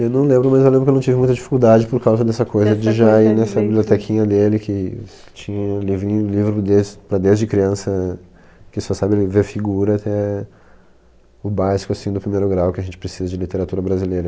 Eu não lembro, mas eu lembro que eu não tive muita dificuldade por causa dessa coisa, de já ir nessa bibliotequinha dele, que tinha livrinho livro desse para desde criança, que só sabe ler ver figura até o básico, assim, do primeiro grau, que a gente precisa de literatura brasileira.